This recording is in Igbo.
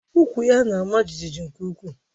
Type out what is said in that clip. Ukwú ya na-ama jijiji nke ukwuu